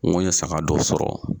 N koye saga dɔ sɔrɔ.